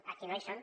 aquí no hi són